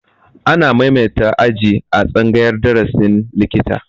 Ana maimaita aji a tsangayar darasin likita